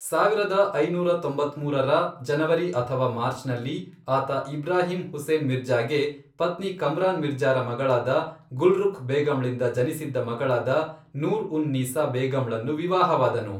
ಸಾವಿರದ ಐನೂರ ತೊಂಬತ್ಮೂರರ ಜನವರಿ ಅಥವಾ ಮಾರ್ಚ್ನಲ್ಲಿ, ಆತ ಇಬ್ರಾಹಿಂ ಹುಸೇನ್ ಮಿರ್ಜಾ಼ಗೆ ಪತ್ನಿ ಕಮ್ರಾನ್ ಮಿರ್ಜಾ಼ರ ಮಗಳಾದ ಗುಲ್ರುಖ್ ಬೇಗಂಳಿಂದ ಜನಿಸಿದ್ದ ಮಗಳಾದ ನೂರ್ ಉನ್ ನೀಸಾ ಬೇಗಂಳನ್ನು ವಿವಾಹವಾದನು.